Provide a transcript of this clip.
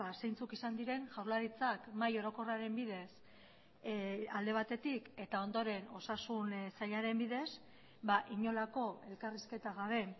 zeintzuk izan diren jaurlaritzak mahai orokorraren bidez alde batetik eta ondoren osasun sailaren bidez inolako elkarrizketa gabe